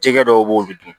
Jɛgɛ dɔw be ye o be dun